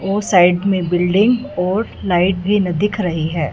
वो साइड में बिल्डिंग और लाइट भी न दिख रही है।